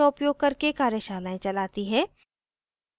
spoken tutorials का उपयोग करके कार्यशालाएं चलाती है